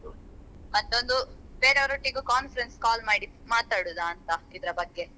ಮತ್ತೊಂದು ಬೇರೆ ಅವರೊಟ್ಟಿಗೂ conference call ಮಾಡಿ ಮಾತಾಡುದಂತ ಇದ್ರ ಬಗ್ಗೆ.